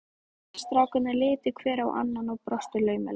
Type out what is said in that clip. Strákarnir litu hver á annan og brostu laumulega.